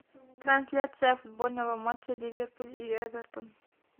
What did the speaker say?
трансляция футбольного матча ливерпуль и эвертон